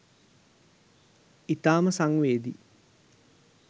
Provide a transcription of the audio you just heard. ඉතාම සංවේදී